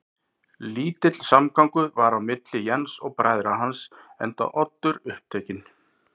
Lítill samgangur var milli Jens og bræðra hans, enda Oddur upptekinn